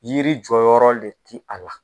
Yiri jɔyɔrɔ le ti a la.